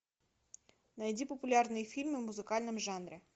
найди популярные фильмы в музыкальном жанре